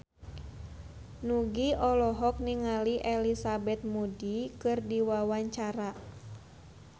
Nugie olohok ningali Elizabeth Moody keur diwawancara